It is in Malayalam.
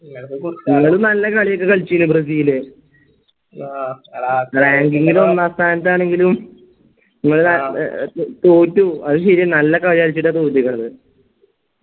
അവര് നല്ല കളിയൊക്കെ കളിച്ചിന്ന് ബ്രസീല് ഒന്നാം സ്ഥാനത്ത് ആണെങ്കിലും തോറ്റു അത് ശരിയ നല്ല കളി കളിച്ചിട്ടാണ് തോറ്റിക്കണത്